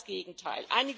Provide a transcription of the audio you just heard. Genau das Gegenteil!